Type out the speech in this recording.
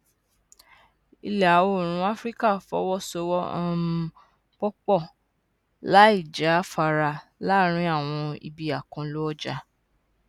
ìlàoòrùn áfíríkà fọwọ sowọ um pòpọ láìjáfara láàárín àwọn ibi àkànlò ọjà